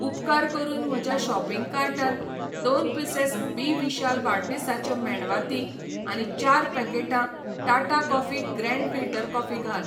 उपकार करून म्हज्या शॉपिंग कार्टांत दोन पिसेस बी विशाल वाडदिसाच्यो मेणवाती आनी चार पॅकेटां Tata coffee grand filter coffee घाल.